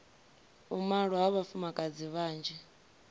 u malwa ha vhafumakadzi vhanzhi